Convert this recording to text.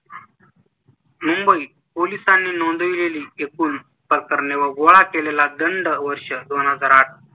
मुंबई पोलिसांनी नोंदवलेली एकूण प्रकरणे व गोळा केलेला दंड वर्ष दोन हजार आठ